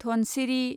Dhansiri